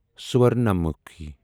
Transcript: سورنامُکھی